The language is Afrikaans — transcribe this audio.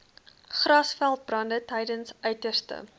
grasveldbrande tydens uiterste